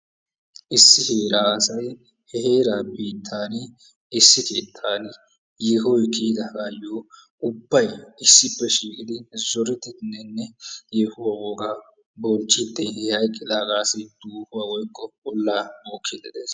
Issi heeraa asay he heeraa biittan issi keettan yeehoy kiyidaagayyo ubbay issippe shiiqidi zoorettidi yehuwaaa wogaa bonchchidi hayqqidaagays duufuwa woykko ollaa bookkidi de'ees.